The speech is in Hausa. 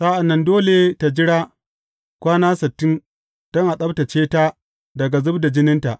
Sa’an nan dole tă jira kwana sittin don a tsabtacce ta daga zub da jininta.